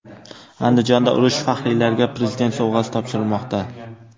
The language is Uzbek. Andijonda urush faxriylariga Prezident sovg‘asi topshirilmoqda.